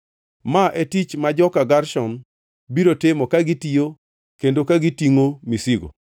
“Ma e tich ma joka Gershon biro timo ka gitiyo kendo ka gitingʼo misigo: